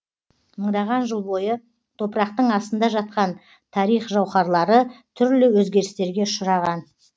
мыңдаған жыл бойы топырақтың астында жатқан тарих жауһарлары түрлі өзгерістерге ұшыраған